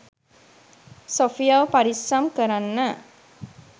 සොෆියව පරිස්සම් කරන්න